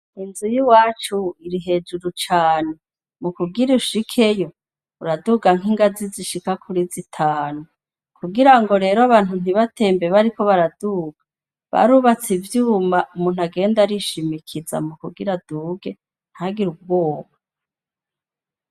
Inzu y'iwacu iri hejuru cane. Mu kugira ushikeyo uraduga nk'ingazi zishika kuri zitanu . Kugira ngo rero abantu ntibatembe bariko baraduga, barubatse ivyuma umuntu agenda arishimikiza mu kugira aduge ntagire ubwoba.